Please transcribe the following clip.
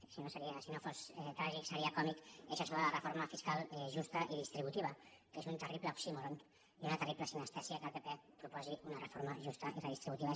si no fos tràgic seria còmic és això de la reforma fiscal justa i distributiva que és un terrible oxímoron i una terrible sinestèsia que el pp proposi una reforma justa i redistributiva